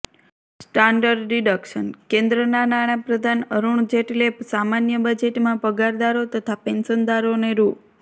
standard deduction કેન્દ્રના નાણાપ્રધાન અરુણ જેટલે સામાન્ય બજેટમાં પગારદારો તથા પેન્શનદારોને રૂ